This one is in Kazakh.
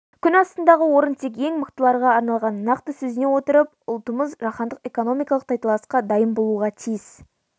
күн астындағы орын тек ең мықтыларға арналғанын нақты сезіне отырып ұлтымыз жаһандық экономикалық тайталасқа дайын болуға тиіс